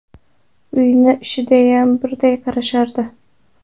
Uyni ishigayam birday qarashardi.